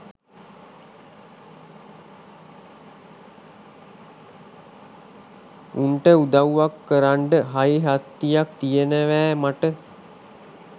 උන්ට උදව්වක් කරන්ඩ හයිහත්තියක් තියනවෑ මට